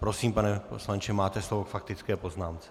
Prosím, pane poslanče, máte slovo k faktické poznámce.